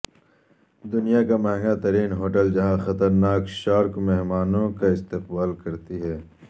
دنیا کامہنگا ترین ہوٹل جہاں خطرناک شارک مہمانوں کا استقبال کرتی ہے